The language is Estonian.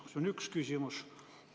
See on üks küsimus.